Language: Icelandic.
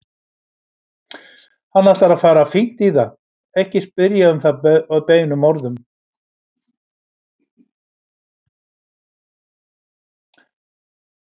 Hann ætlar að fara fínt í það, ekki spyrja um það beinum orðum.